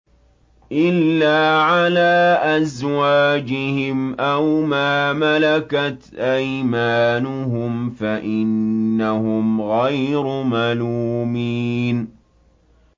إِلَّا عَلَىٰ أَزْوَاجِهِمْ أَوْ مَا مَلَكَتْ أَيْمَانُهُمْ فَإِنَّهُمْ غَيْرُ مَلُومِينَ